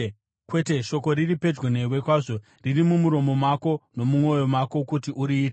Kwete, shoko riri pedyo newe kwazvo; riri mumuromo mako nomumwoyo mako kuti uriite.